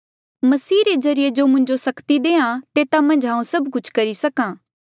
मसीह रे ज्रीए जो मुंजो सक्ति देहां तेता मन्झ हांऊँ सभ कुछ करी सक्हा